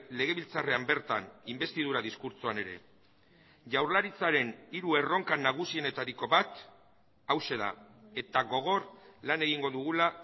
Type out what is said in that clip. legebiltzarrean bertan inbestidura diskurtsoan ere jaurlaritzaren hiru erronkan nagusienetariko bat hauxe da eta gogor lan egingo dugula